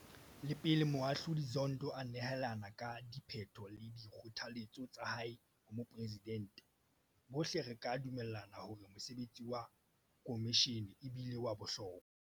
Le pele Moahlodi Zondo a nehelana ka diphetho le dikgothaletso tsa hae ho Moporesidente, bohle re ka dumellana hore mosebetsi wa khomishene e bile wa bohlokwa.